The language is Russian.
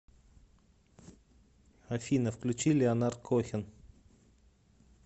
афина включи леонард кохен